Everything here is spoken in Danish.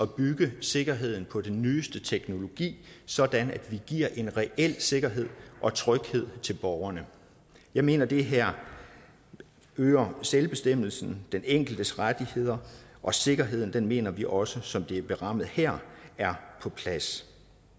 bygge sikkerheden på den nyeste teknologi sådan at vi giver en reel sikkerhed og tryghed til borgerne jeg mener det her øger selvbestemmelsen den enkeltes rettigheder og sikkerheden mener vi også som det er berammet her er på plads